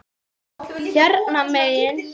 Hérna megin.